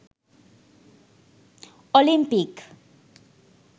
Olympic